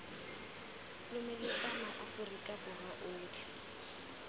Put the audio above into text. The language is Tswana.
lomeletsa ma aforika borwa otlhe